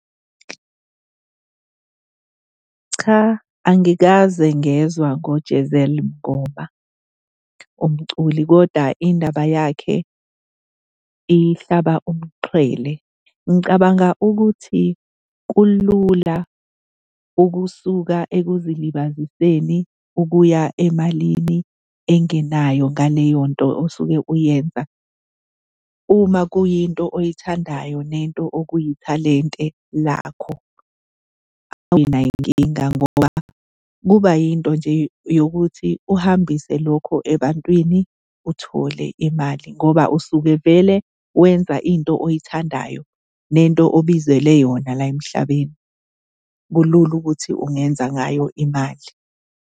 Cha, angikaze ngezwa ngoJezel Mngoma, umculi koda indaba yakhe ihlaba umxhwele. Ngicabanga ukuthi kulula ukusuka ekuzilibaziseni ukuya emalini engenayo ngaleyo nto osuke uyenza. Uma kuyinto oyithandayo nento okuyithalente lakho, anginayo inkinga ngoba kuba yinto nje yokuthi uhambise lokho ebantwini uthole imali ngoba usuke vele wenza into oyithandayo nento obizelwe yona la emhlabeni, kulula ukuthi ungenza ngayo imali.